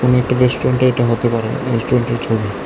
এখানে একটি রেস্টুরেন্টও এটা হতে পারে রেস্টুরেন্টের ছবি।